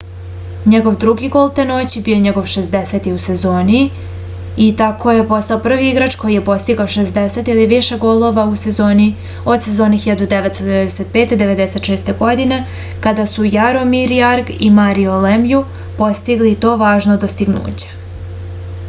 njegov drugi gol te noći bio je njegov 60. u sezoni i tako je postao prvi igrač koji je postigao 60 ili više golova u sezoni od sezone 1995-96. godine kada su jaromir jagr i mario lemju postigli to važno dostignuće